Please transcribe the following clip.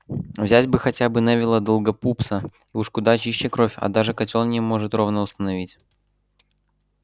взять бы хотя бы невилла долгопупса уж куда чище кровь а даже котёл не может ровно установить